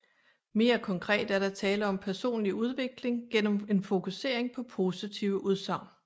Mere konkret er der tale om personlig udvikling gennem en fokusering på positive udsagn